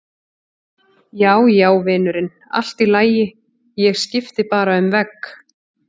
Já, já, vinurinn, allt í lagi, ég skipti bara um vegg.